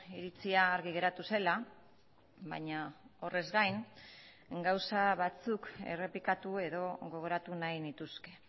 iritzia argi geratu zela baina horrez gain gauza batzuk errepikatu edo gogoratu nahi nituzke